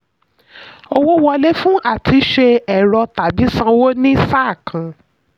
owó wọlé: fún àtúnṣe ẹ̀rọ tàbí sánwo ní sàá kan.